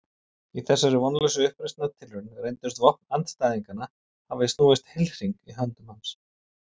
Í þessari vonlausu uppreisnartilraun reyndust vopn andstæðinganna hafa snúist heilhring í höndum hans.